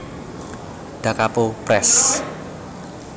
Da Capo Press